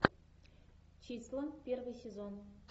числа первый сезон